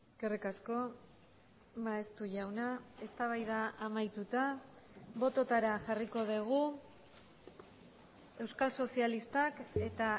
eskerrik asko maeztu jauna eztabaida amaituta bototara jarriko dugu euskal sozialistak eta